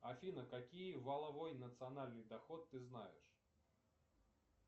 афина какие валовой национальный доход ты знаешь